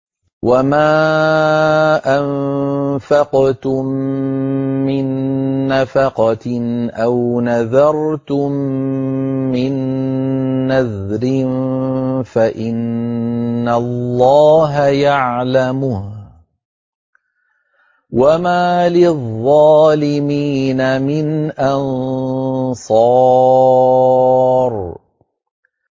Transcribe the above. وَمَا أَنفَقْتُم مِّن نَّفَقَةٍ أَوْ نَذَرْتُم مِّن نَّذْرٍ فَإِنَّ اللَّهَ يَعْلَمُهُ ۗ وَمَا لِلظَّالِمِينَ مِنْ أَنصَارٍ